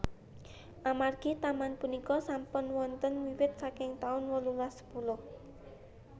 Amargi taman punika sampun wonten wiwit saking taun wolulas sepuluh